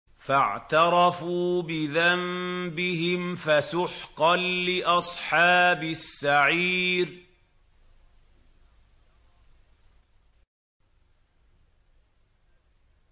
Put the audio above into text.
فَاعْتَرَفُوا بِذَنبِهِمْ فَسُحْقًا لِّأَصْحَابِ السَّعِيرِ